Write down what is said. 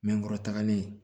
Mɛ kɔrɔ tagalen